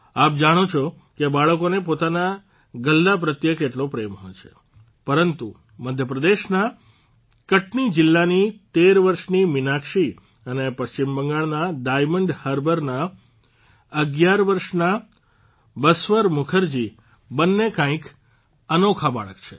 આપ જાણો છો કે બાળકોને પોતાના ગલ્લા પ્રત્યે કેટલો પ્રેમ હોય છે પરંતુ મધ્યપ્રદેશના કટની જીલ્લાની તેર વર્ષની મીનાક્ષી અને પશ્ચિમબંગાળના ડાયમંડ હાર્બરના ૧૧ વર્ષના બસ્વર મુખર્જી બંને કંઇક અનોખા બાળક છે